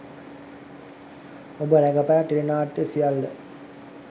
ඔබ රඟපෑ ටෙලි නාට්‍ය සියල්ල